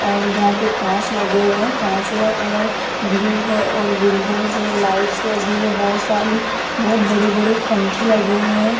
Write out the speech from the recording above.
और जहां पे कांच लगे हुए हैं कांच का कलर ब्लू है और विंडो से लाइट से भी बहोत सारी बहोत बड़े बड़े पंखे लगे हुए हैं।